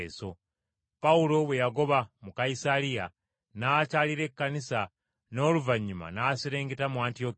Pawulo bwe yagoba mu Kayisaliya, n’akyalira Ekkanisa n’oluvannyuma n’aserengeta mu Antiyokiya.